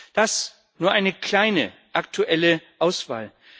Das ist nur eine kleine, aktuelle Auswahl.